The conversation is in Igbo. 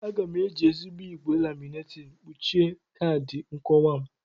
Aga m eji ezigbo igwe laminating kpuchie kaadị nkowa m.